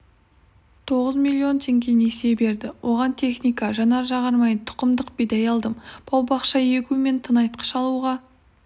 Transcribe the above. тоғыз миллион теңге несие берді оған техника жанар-жағармай тұқымдық бидай алдым бау-бақша егу мен тыңайтқыш алуға